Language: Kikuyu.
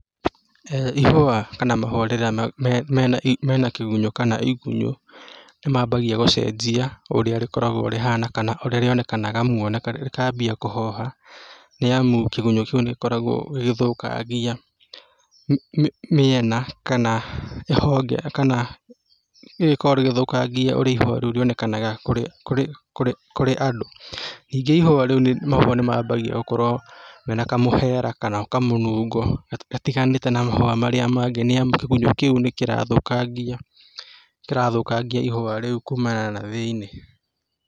Ihũa kana mahũa rĩrĩa mena kĩgunyũ kana igunyũ, nĩ mambagia gũcenjia ũrĩa rĩkoragwo rĩhana kana ũrĩa rĩonekanaga, muonere wa rĩo rĩkambia kũhoha, nĩ amu kĩgunyũ kĩu nĩ gĩkoragwo gĩgĩthũkangia mĩena kana honge kana rĩgĩkoragwo rĩgĩthũkangia ũrĩa ihũa rĩu rĩonekaga kũrĩ, kũrĩ andũ. Ningĩ ihũa rĩu, mahũa mau nĩ mambagia gũkorwo mena kamũhera kana kamũnungo gatiganĩte na mahũa marĩa mangĩ nĩ amu kĩgunyũ kĩu nĩ kĩrathũkangia, kĩrathũkangia ihũa rĩu kumana na thĩiniĩ.